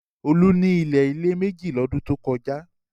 Olú ní ilé-ilẹ̀ méjì lọ́dún tó kọjá.